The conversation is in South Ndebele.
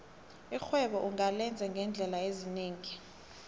irhwebo ungalenza ngeendlela ezinengi